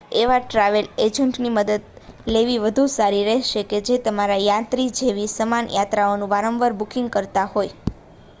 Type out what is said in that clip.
એવા ટ્રાવેલ એજન્ટની મદદ લેવી વધુ સારી રહેશે જે તમારી યાત્રા જેવી સમાન યાત્રાઓનું વારંવાર બુકિંગ કરતા હોય